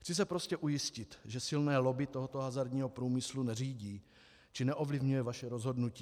Chci se prostě ujistit, že silné lobby tohoto hazardního průmyslu neřídí či neovlivňuje vaše rozhodnutí.